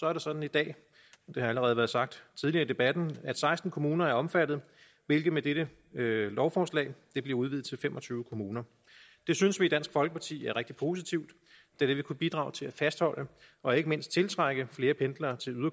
er det sådan i dag det har allerede været sagt tidligere i debatten at seksten kommuner er omfattet hvilket med dette lovforslag bliver udvidet til fem og tyve kommuner det synes vi i dansk folkeparti er rigtig positivt da det vil kunne bidrage til at fastholde og ikke mindst tiltrække flere pendlere til